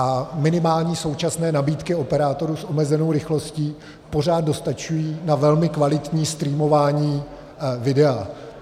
A minimální současné nabídky operátorů s omezenou rychlostí pořád dostačují na velmi kvalitní streamování videa.